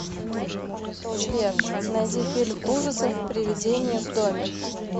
сбер найди фильм ужасов привидение в доме